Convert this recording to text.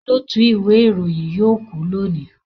Olóòtú ìwé ìròyìn yóò kú lónìí